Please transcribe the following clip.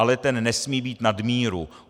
Ale ten nesmí být nad míru.